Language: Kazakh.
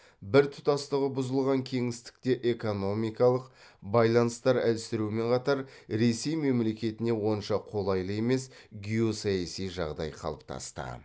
біртұтастығы бұзылған кеңістікте экономикалық байланыстар әлсіреумен қатар ресей мемлекетіне онша қолайлы емес геосаяси жағдай қалыптасты